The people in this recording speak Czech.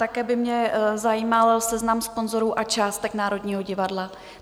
Také by mě zajímal seznam sponzorů a částek Národního divadla.